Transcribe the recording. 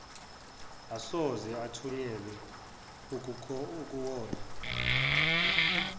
asoze athunyelwe ukuyolwa